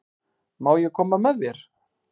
Má ég koma með þér?